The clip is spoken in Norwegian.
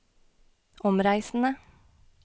omreisende